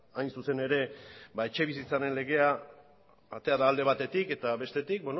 hain zuzen ere etxebizitzaren legea atera da alde batetik eta bestetik